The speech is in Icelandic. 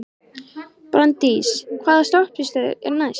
Branddís, hvaða stoppistöð er næst mér?